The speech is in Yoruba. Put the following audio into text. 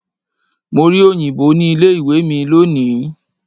Mo rí òyìnbó ní ilé ìwé mi lónìí.